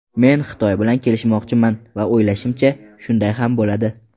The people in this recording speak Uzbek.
Men Xitoy bilan kelishmoqchiman va o‘ylashimcha, shunday ham bo‘ladi.